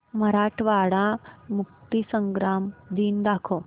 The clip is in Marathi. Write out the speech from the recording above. मराठवाडा मुक्तीसंग्राम दिन दाखव